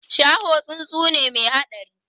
Shaho tsuntsu ne mai haɗari